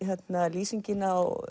lýsingin á